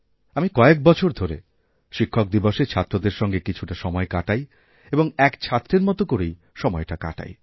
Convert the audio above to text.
আমি কয়েক বছর ধরে শিক্ষকদিবসে ছাত্রদেরসঙ্গে কিছু সময় কাটাই এবং এক ছাত্রের মত করেই সময়টা কাটাই